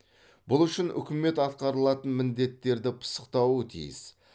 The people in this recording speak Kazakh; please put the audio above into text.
бұл үшін үкімет атқарылатын міндеттерді пысықтауы тиіс